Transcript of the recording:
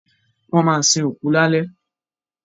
Wọ́n ma sin òkú lálẹ́